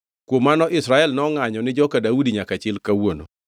Kuom mano Israel nongʼanyo ni joka Daudi nyaka chil kawuono.